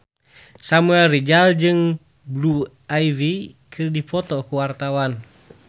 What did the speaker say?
Samuel Rizal jeung Blue Ivy keur dipoto ku wartawan